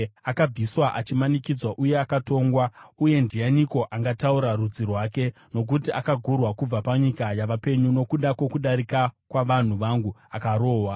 Akabviswa achimanikidzwa uye akatongwa. Uye ndianiko angataura rudzi rwake? Nokuti akagurwa kubva panyika yavapenyu, nokuda kwokudarika kwavanhu vangu, akarohwa.